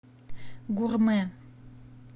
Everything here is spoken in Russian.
гурмэ